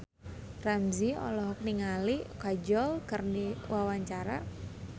Ramzy olohok ningali Kajol keur diwawancara